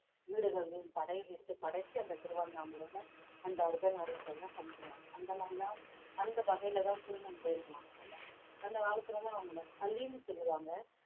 வீடுகள்லயும் படை கட்டு படைச்சு அந்த திருவண்ணாமலையில அந்த அர்த்தநாரீஸ்வரரை கும்பிடுவாங்க அந்த மாதிரிலாம் அந்த வகையிலதான் திருநங்கைன்னுவாங்க அந்த காலத்துல எல்லாம் அவங்களை அலின்னு சொல்லுவாங்க